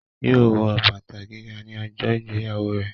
Yóò wọ bàtà gíga ní ọjọ́ ìgbéyàwó rẹ̀